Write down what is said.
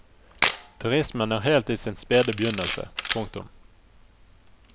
Turismen er helt i sin spede begynnelse. punktum